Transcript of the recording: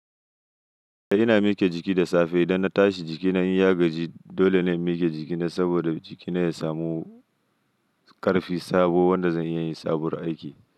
Ina miƙe jiki da safe idan na tashi jikina in ya gaji dole na inmiƙe jikina saboda jikina ya samu ƙarfi sabo wanda zan iya yin sabuwar aiki.